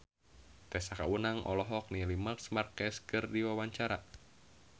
Tessa Kaunang olohok ningali Marc Marquez keur diwawancara